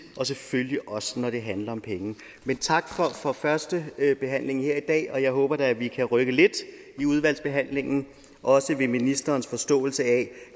og selvfølgelig også når det handler om penge men tak for førstebehandlingen her i dag og jeg håber da at vi kan rykke lidt i udvalgsbehandlingen og også ved ministerens forståelse af